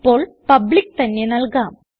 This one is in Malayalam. ഇപ്പോൾ പബ്ലിക്ക് തന്നെ നൽകാം